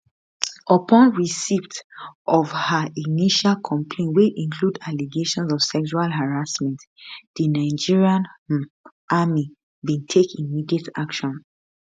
upon receipt of her initial complaint wey include allegations of sexual harassment di nigerian um army bin take immediate action